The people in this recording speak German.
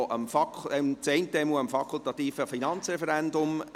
Das eine davon untersteht dem fakultativen Finanzreferendum.